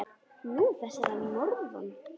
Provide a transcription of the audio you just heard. Nú, þessir að norðan.